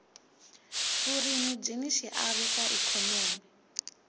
vurimi byini xiave ka ikhonomi